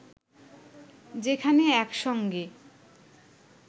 যেখানে একসঙ্গে